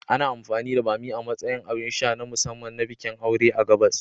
Ana amfani da bammi a matsayin abin sha na musamman na bikin aure a gabas.